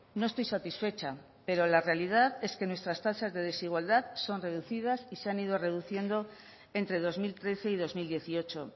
no estoy satisfecha pero la realidad es que nuestras tasas de desigualdad son reducidas y se han ido reduciendo entre dos mil trece y dos mil dieciocho